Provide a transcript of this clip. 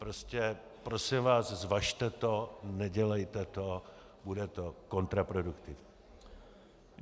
Prostě prosím vás, zvažte to, nedělejte to, bude to kontraproduktivní.